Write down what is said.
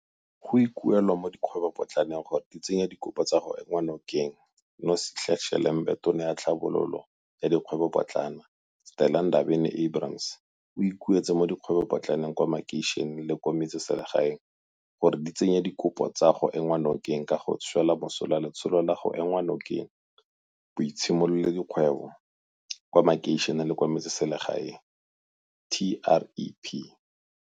Go ikuelwa mo dikgwebopotlaneng gore di tsenye dikopo tsa go enngwa nokeng Nosihle Shelembe Tona ya Tlhabololo ya Dikgwebopotlana, Stella Ndabeni-Abrahams, o ikuetse mo dikgwebopotlaneng kwa makeišeneng le kwa metseselegaeng gore di tsenye dikopo tsa go enngwa nokeng ka go swela mosola Letsholo la go Ema Nokeng Boitshimololedi kgwebo kwa Makeišeneng le kwa Metseselegaeng, TREP.